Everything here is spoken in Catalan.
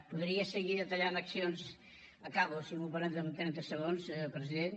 podria seguir detallant accions acabo si m’ho permet en trenta segons senyor president